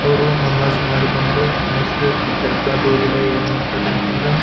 ಅವ್ರು ನಮಾಜ್ ಮಾಡಿ ಬಂದು ನೆಕ್ಸ್ಟ್ ಈ ದರ್ಗಾದೊಳಗಡೆ ಏನ್ ಮಾಡತ್ತರೆ ಅಂತ ಅಂದ್ರೆ --